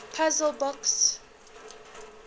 puzzle books